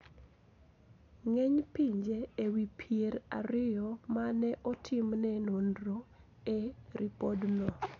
Ng`eny pinje e wi pier ariyo ma ne otimne nonro e ripodno